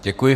Děkuji.